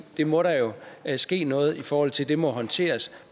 det må der jo ske noget i forhold til det må håndteres